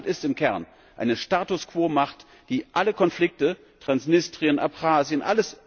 Russland ist im Kern eine Status quo Macht, die alle Konflikte Transnistrien, Abchasien usw.